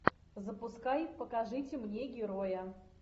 запускай покажите мне героя